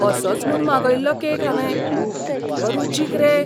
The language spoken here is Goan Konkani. असोच म्हूण मागयल्लो केक हांवें. कितलो रुचीक रे!